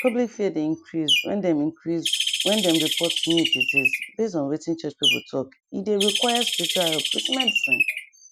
public fear dey increase when dem increase when dem report new disease base on wetin church people talke dey require spiritual help with medicine